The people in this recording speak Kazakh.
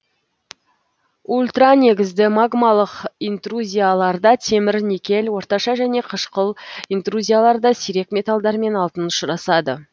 ультранегізді магмалық интрузияларда темір никель орташа және қышқыл интрузияларда сирек металдар мен алтын ұшырасады